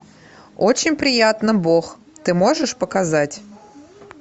очень приятно бог ты можешь показать